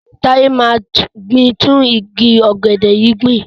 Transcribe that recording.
Táyé máa gbin tún igi ọ̀gẹ̀dẹ̀ yìí gbìn.